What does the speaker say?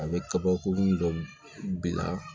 A bɛ kabakurun dɔ bila